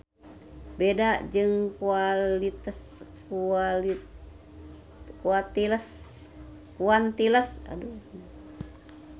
Beda jeung quantiles.